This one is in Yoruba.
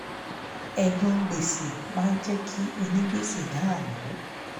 ẹ̀gan gbèsè máa jẹ́ kí onígbèsè dàmú